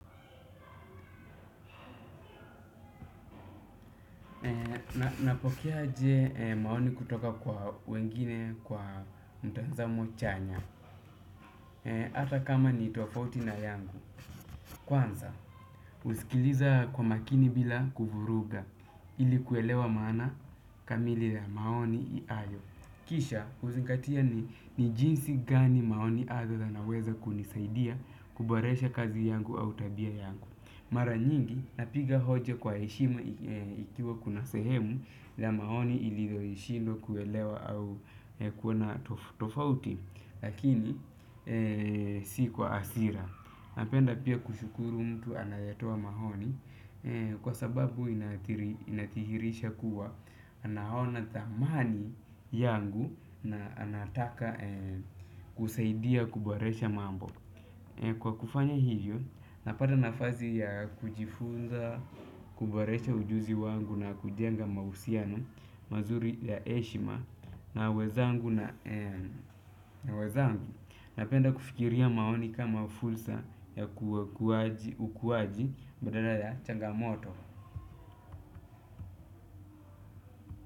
Napokeaje maoni kutoka kwa wengine kwa mtazamo chanya hata kama ni tofauti na yangu. Kwanza, husikiliza kwa makini bila kuvuruga ili kuelewa maana kamili ya maoni ayo. Kisha, huzingatia ni jinsi gani maoni azo yanaweza kunisaidia kuboresha kazi yangu au tabia yangu. Mara nyingi napiga hoja kwa heshima ikiwa kuna sehemu la maoni ililoishilo kuelewa au kuona tofauti. Lakini si kwa asira. Napenda pia kushukuru mtu anayetoa maoni. Kwa sababu inathihirisha kuwa anaona thamani yangu na anataka kusaidia kuboresha mambo. Kwa kufanya hivyo, napata nafasi ya kujifunza, kuboresha ujuzi wangu na kujenga mahusiano, mazuri ya heshima, na wezangu na wezangu, napenda kufikiria maoni kama fulsa ya kuwaji ukuwaji badala ya changamoto.